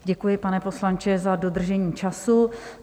Děkuji, pane poslanče, za dodržení času.